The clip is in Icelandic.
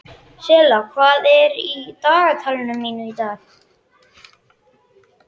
Silla, hvað er í dagatalinu mínu í dag?